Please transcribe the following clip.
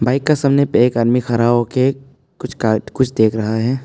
Bike का सामने एक आदमी खड़ा होके कुछ का कुछ देख रहा है।